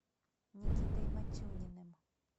никитой матюниным